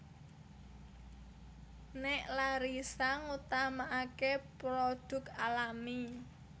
Nek Larissa ngutamaake produk alami